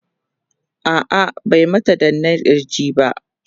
a'a bai mata danna kirji ba